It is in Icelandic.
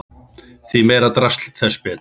Því meira drasl þess betra.